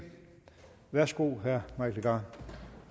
værsgo herre mike legarth